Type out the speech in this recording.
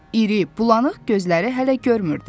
İri, bulanıq gözləri hələ görmürdü.